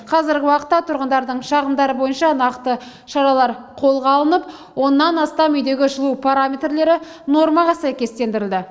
қазіргі уақытта тұрғындардың шағымдары бойынша нақты шаралар қолға алынып оннан астам үйдегі жылу параметрлері нормаға сәйкестендірілді